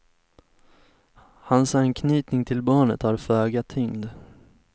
Hans anknytning till barnet har föga tyngd.